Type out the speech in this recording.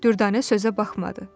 Dürdanə sözə baxmadı.